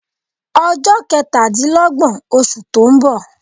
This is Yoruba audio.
Ọjọ́ ketadinlogbọn osù to ń bọ